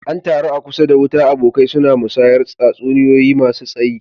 An taru a kusa da wuta, abokai suna musayar tatsuniyoyi masu tsayi.